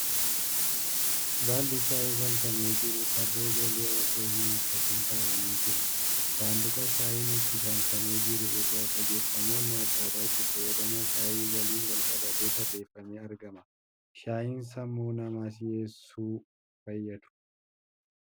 Baalli shaayii saamsamee jiru tarree galee osoo hin hiikkatin taa'anii jiru. Sanduuqa shaayiin ittiin saamsamee jiru irratti qajeelfamoonni akkaataa itti fayyadama shaayii waliin wal qabatee tarreeffamee argama. Shaayiin sammuu namaa si'eessuu fayyadu.